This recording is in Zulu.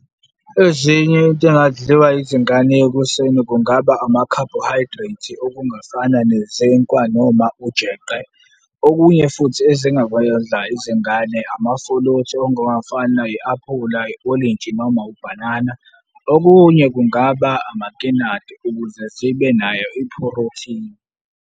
Ezinye izinto ezingadliwa izingane ekuseni kungaba ama-carbohydrates, okungafana nezinkwa noma ujeqe. Okunye futhi ezingakwedla izingane amafuluthi, ongawofana i-aphula, i-olenji noma ubhanana. Okunye kungaba amakinati ukuze zibe nayo iphorothini.